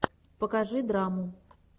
покажи драму